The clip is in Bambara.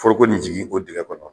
Foroko nin jigin o dingɛ kɔnɔ.